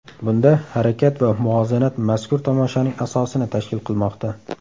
Bunda harakat va muvozanat mazkur tomoshaning asosini tashkil qilmoqda.